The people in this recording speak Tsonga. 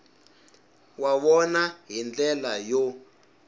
wa vona hi ndlela yo